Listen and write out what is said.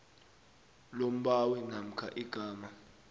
lombawi namkha igama